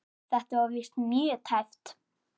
Þetta var víst mjög tæpt.